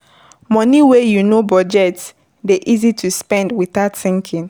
Money wey you no budget dey easy to spend without thinking